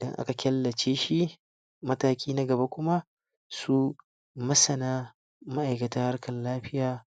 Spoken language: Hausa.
dan aka kyallace shi, mataki na gaba kuma su masana ma'iakatar karkan lafiya